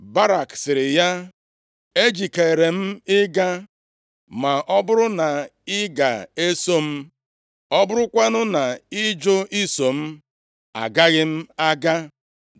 Barak sịrị ya, “Ejikeere m ịga ma ọ bụrụ na ị ga-eso m. Ọ bụrụkwanụ na ị jụ iso m, agaghị m aga.”